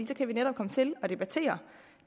så kan vi netop komme til at debattere